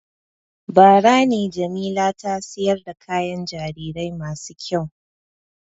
Bara ne Jamila ta sayar da kayan jarirai masu kyau.